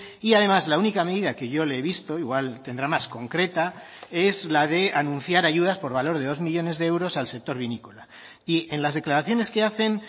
y además la única medida que yo le he visto igual tendrá más concreta es la de anunciar ayudas por valor de dos millónes de euros al sector vinícola y en las declaraciones que hacen